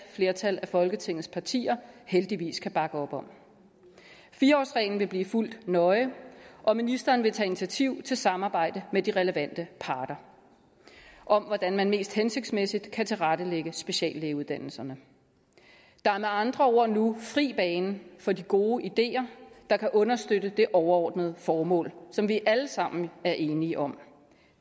flertal af folketingets partier heldigvis kan bakke op om fire årsreglen vil blive fulgt nøje og ministeren vil tage initiativ til samarbejde med de relevante parter om hvordan man mest hensigtsmæssigt kan tilrettelægge speciallægeuddannelserne der er med andre ord nu fri bane for de gode ideer der kan understøtte det overordnede formål som vi alle sammen er enige om